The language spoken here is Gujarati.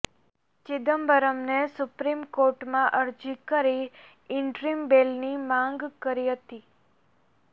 ચિદમ્બરને સુપ્રીમ કોર્ટમા અરજી કરી ઈન્ટરિમ બેલની માગ કરી હતી